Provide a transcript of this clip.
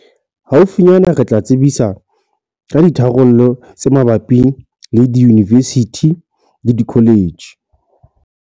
Haufinyana re tla tsebisa ka ditharollo tse mabapi le diyunivesithi le dikoletjhe.